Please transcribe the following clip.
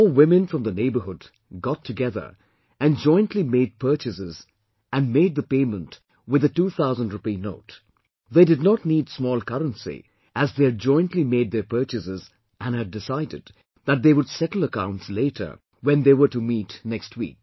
Four women from the neighborhood got together and jointly made purchases and made the payment with the 2000 Rupee note; they did not need small currency as they had jointly made their purchases and had decided that they would settle accounts later when they were to meet next week